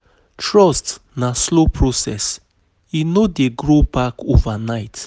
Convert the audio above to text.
Trust na slow process, e no dey grow back overnight.